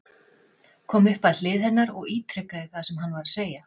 Kom upp að hlið hennar og ítrekaði það sem hann var að segja.